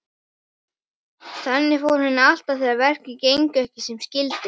Þannig fór henni alltaf þegar verkin gengu ekki sem skyldi.